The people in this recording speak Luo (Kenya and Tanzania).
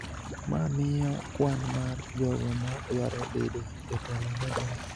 ma miyo kwan mar jogo ma dwaro bedo jotelo medore.